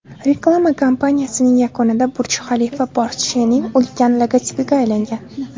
Reklama kampaniyasining yakunida Burj-Xalifa Porsche’ning ulkan logotipiga aylangan.